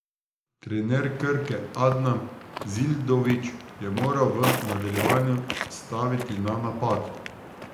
Trener Krke Adnan Zildžović je moral v nadaljevanju staviti na napad.